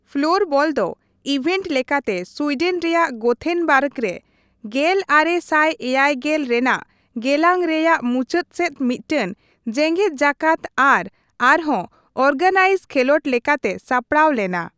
Floorball ᱫᱚ event ᱞᱮᱠᱟᱛᱮ Sweden ᱨᱮᱭᱟᱜ ᱜᱳᱛᱷᱮᱱᱵᱟᱨᱜᱽ ᱨᱮ ᱜᱮᱞ ᱟᱨᱮ ᱥᱟᱭ ᱮᱭᱟᱭ ᱜᱮᱞ ᱨᱮᱱᱟᱜ ᱜᱮᱞᱟᱝ ᱨᱮᱭᱟᱜ ᱢᱩᱪᱟᱹᱫ ᱥᱮᱫ ᱢᱤᱫᱴᱟᱝ ᱡᱮᱜᱮᱫ ᱡᱟᱠᱟᱛ ᱟᱨ ᱟᱨᱦᱚᱸ ᱚᱨᱜᱟᱱᱟᱭᱤᱡ ᱠᱷᱮᱞᱚᱱᱰ ᱞᱮᱠᱟᱛᱮ ᱥᱟᱯᱲᱟᱣ ᱞᱮᱱᱟ ᱾